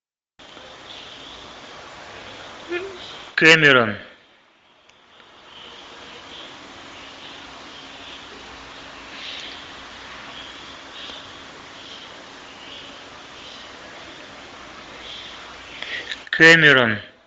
кэмерон кэмерон